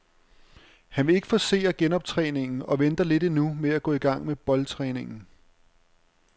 Han vil ikke forcere genoptræningen og venter lidt endnu med at gå i gang med boldtræningen.